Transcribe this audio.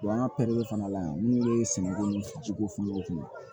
an ka fana la yan n'u ye sɛgɛn kojugu fɔ fini